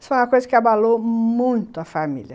Isso foi uma coisa que abalou muito a família.